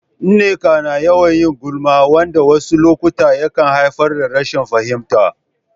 Nneka na yawan yin gulma, wanda a wasu lokuta yakan haifar da rashin fahimta.